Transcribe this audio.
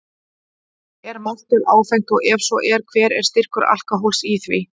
Er maltöl áfengt og ef svo er, hver er styrkur alkóhóls í því?